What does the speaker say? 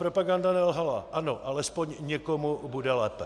Propaganda nelhala, ano, alespoň někomu bude lépe.